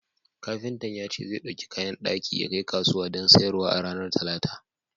Kafintan ya ce zai ɗauki kayan daki yakai kasuwa don sayarwa a ranar Talata.